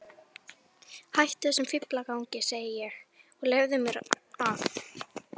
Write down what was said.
Hættu þessum fíflagangi, segi ég, og leyfðu mér að.